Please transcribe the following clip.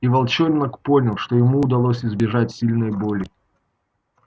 и волчонок понял что ему удалось избежать сильной боли